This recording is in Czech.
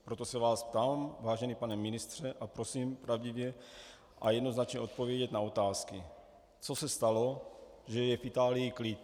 Proto se vás ptám, vážený pane ministře, a prosím pravdivě a jednoznačně odpovědět na otázky: Co se stalo, že je v Itálii klid?